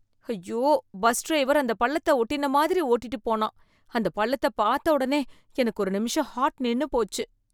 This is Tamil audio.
ஐயோ, பஸ் டிரைவர் அந்தப் பள்ளத்த ஒட்டின மாதிரி ஓட்டிட்டு போனான், அந்த பள்ளத்த பார்த்த உடனே எனக்கு ஒரு நிமிஷம் ஹார்ட் நின்னு போச்சு